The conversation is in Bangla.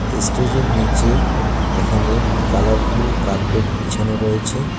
এস্টেজের -এর নীচে এখানে কালারফুল কার্পেট বিছানো রয়েছে।